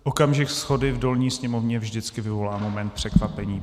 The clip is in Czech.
Okamžik shody v dolní sněmovně vždycky vyvolá moment překvapení.